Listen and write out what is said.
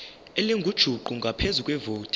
elingujuqu ngaphezu kwevoti